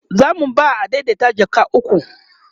zamu ba adaidaita jaka ukwu